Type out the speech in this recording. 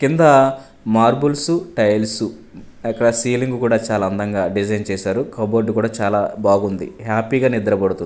కింద marbles tiles అక్కడ ceiling కూడా చాలా అందంగా డిజైన్ చేశారు కబోర్డు కూడా చాలా బాగుంది హ్యాపీ గా నిద్ర పడుతుం--